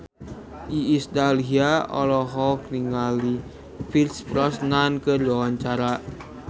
Iis Dahlia olohok ningali Pierce Brosnan keur diwawancara